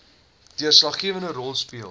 deurslaggewende rol speel